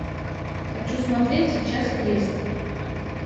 хочу смотреть сейчас крест